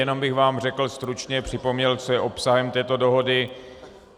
Jenom bych vám řekl stručně, připomněl, co je obsahem této dohody.